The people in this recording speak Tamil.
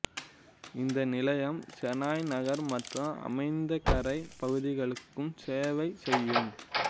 இந்த நிலையம் செனாய் நகர் மற்றும் அமைந்தகரை பகுதிகளுக்குச் சேவை செய்யும்